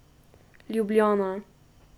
Ljubljana.